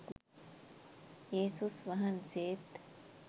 යේසුස් වහන්සේත්